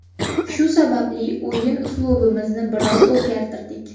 Shu sababli o‘yin uslubimizni biroz o‘zgartirdik.